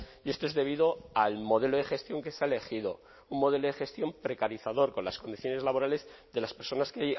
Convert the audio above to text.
y esto es debido al modelo de gestión que se ha elegido un modelo de gestión precarizador con las condiciones laborales de las personas que